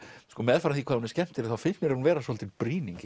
sko meðfram því hvað hún er skemmtileg þá finnst mér hún vera svolítil brýning